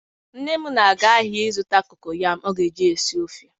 Nne m na-aga ahia zuta kokoyam o ga-eji sie ofe